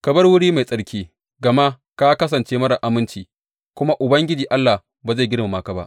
Ka bar wuri mai tsarki, gama ka kasance marar aminci; kuma Ubangiji Allah ba zai girmama ka ba.